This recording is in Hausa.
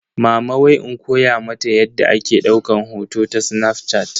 Mama wai in koya mata yadda ake daukan hoto ta snafshat.